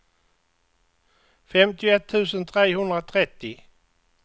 femtioett tusen trehundratrettio